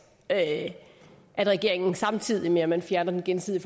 at regeringen samtidig med at man fjerner den gensidige